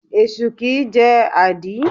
Esu kìí jẹ́ àdí.